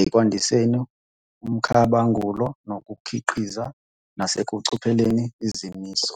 ekwandiseni umkhabangulo nokukhiqiza, nasekuphuculeni izimiso.